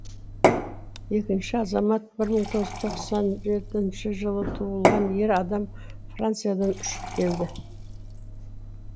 екінші азамат бір мың тоғыз жүз тоқсан жетінші жылы туылған ер адам франциядан ұшып келді